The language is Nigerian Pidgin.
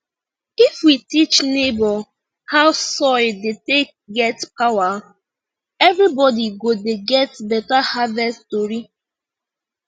if we teach neighbor how soil dey take get power everybody go dey get better harvest tori